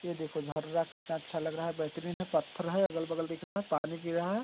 ये देखो झररा कितना अच्छा लग रहा है बेहतरीन है पत्थर है अगल -बगल दिख रहा है पानी गिर रहा है।